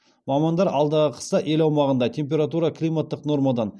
мамандар алдағы қыста ел аумағында температура климаттық нормадан